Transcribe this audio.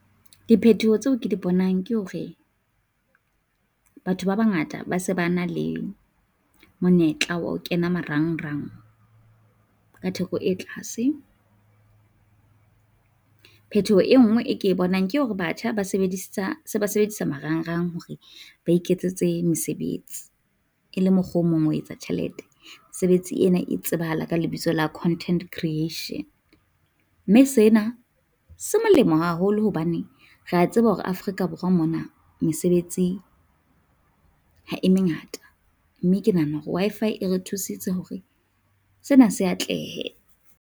Diphetoho tseo ke di bonang ke hore batho ba bangata ba se ba na le monyetla wa ho kena marangrang ka theko e tlase. Phetoho e nngwe e ke bonang ke hore batjha ba sebedisa se ba sebedisa marangrang hore ba iketsetse mesebetsi e le mokgwa o mong ho etsa tjhelete. Mesebetsi ena e tsebahala ka lebitso la Content Creation, mme sena se molemo haholo hobane re a tseba hore Afrika Borwa mona mesebetsing ha e mengata, mme ke nahana hore Wi-Fi e re thusitse hore sena se atlehe.